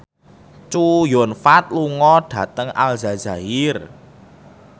Chow Yun Fat lunga dhateng Aljazair